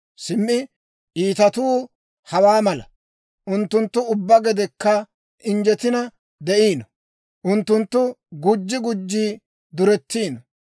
Simmi iitatuu hawaa mala; Unttunttu ubbaa gedekka injjetina de'iino; unttunttu gujji gujji duretiino.